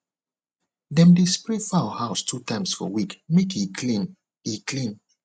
dem dey spray fowl house two times for week make e clean e clean